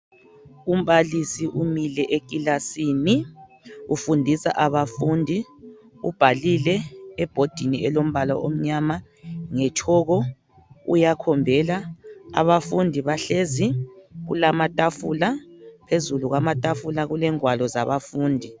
Umbalisi umile ekilasini ufundisa abafundi. Ubhalile ebhodini elombala omnyama ngetshoko, uyakhombela. Abafundi bahlezi, kulamatafula, phezulu kwamatafula kulengwalo zabafundi.